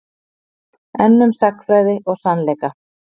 Enn um sagnfræði og sannleika